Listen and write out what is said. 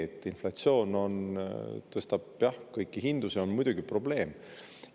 Et inflatsioon tõstab kõiki hindu, see on muidugi probleem.